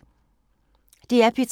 DR P3